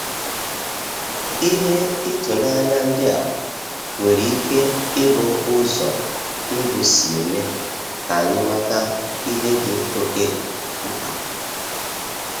Ihe ịtụnanya ndị a nwere ike ịbụ ụzọ ndụ si eme ka anyị mata ihe dị okeh mkpa